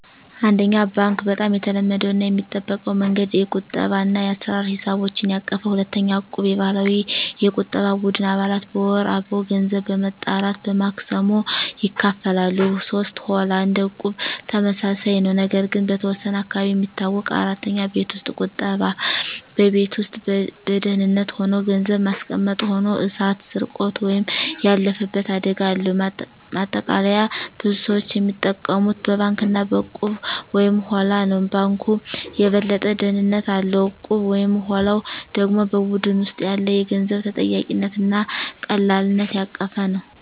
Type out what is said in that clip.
1. ባንክ (Bank) - በጣም የተለመደው እና የሚጠበቀው መንገድ። የቁጠባ እና የአሰራ ሂሳቦችን ያቀፈ። 2. እቁብ (Equb) - የባህላዊ የቁጠባ ቡድን። አባላት በወር አበው ገንዘብ በመጠራት በማክሰሞ ይካፈላሉ። 3. ሆላ (Holla) - እንደ እቁብ ተመሳሳይ ነው፣ ነገር ግን በተወሰነ አካባቢ የሚታወቅ። 4. ቤት ውስጥ ቁጠባ (Saving at Home) - በቤት ውስጥ በደህንነት ሆኖ ገንዘብ ማስቀመጥ። ሆኖ እሳት፣ ስርቆት ወይም ያለፈበት አደጋ አለው። ማጠቃለያ ብዙ ሰዎች የሚጠቀሙት በባንክ እና በእቁብ/ሆላ ነው። ባንኩ የበለጠ ደህንነት አለው፣ እቁቡ/ሆላው ደግሞ በቡድን ውስጥ ያለ የገንዘብ ተጠያቂነት እና ቀላልነት ያቀፈ ነው።